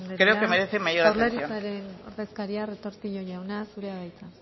creo que merece mayor atención eskerrik asko lópez de ocariz andrea jaurlaritzaren ordezkaria retortillo jauna zurea da hitza